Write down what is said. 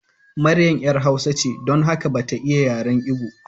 Maryam ‘yar hausa ce, don haka ba ta iya yaren Ibo.